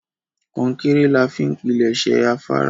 Kọ́ńkẹ́rẹ́ làá fi n pínlesé àfàrà.